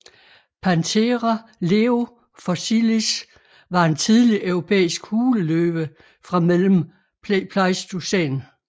Panthera leo fossilis var en tidlig europæisk huleløve fra mellem pleistocæn